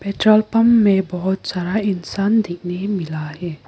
Petrol pump में बहोत सारा इंसान देखने मिल रहा है।